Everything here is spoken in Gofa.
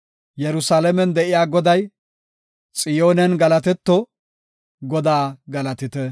Yerusalaamen de7iya Goday Xiyoonen galatetto! Godaa galatite!